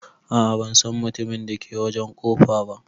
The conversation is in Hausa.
A'a ban San mutumin da ke wajen kofa ba.